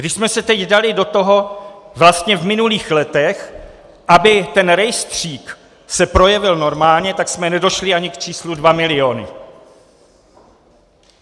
Když jsme se teď dali do toho vlastně v minulých letech, aby ten rejstřík se projevil normálně, tak jsme nedošli ani k číslu 2 miliony.